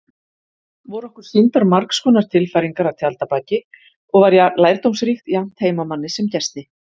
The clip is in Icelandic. Voru okkur sýndar margskonar tilfæringar að tjaldabaki og var lærdómsríkt jafnt heimamanni sem gesti.